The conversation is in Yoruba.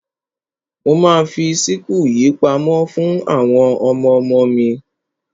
Mo ma fi síkù yìí pamọ́ fún àwọn ọmọmo mi.